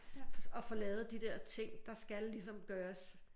Og få lavet de der ting der skal ligesom gøres